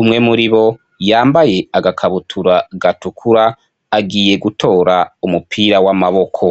umwe muribo yambaye agakabutura gatukura agiye gutora umupira w' amaboko.